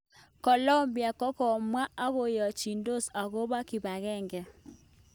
Colombia kokopwat ak koyachitos akopa kipangenge